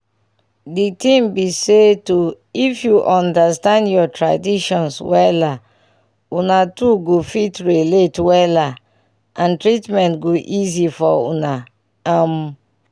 di ting be say to if u understand ur traditions wella una two go fit relate wella and treatments go easy for una um